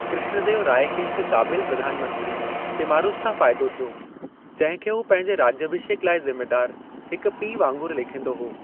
कृष्णदेवराय खे हिक काबिल प्रधान मंत्री तिम्मारुसु सां फायदो थियो, जंहिं खे हू पंहिंजे राज्याभिषेक लाइ ज़िम्मेदार हिक पीउ वांगुरु लेखींदो हो।